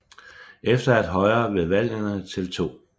Efter at Højre ved valgene til 2